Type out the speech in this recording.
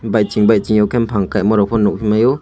batching baiching ke bufang kaima rok ke nugifaio.